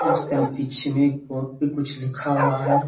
उसके न पीछे में एक बहुत भी कुछ लिखा हुआ है।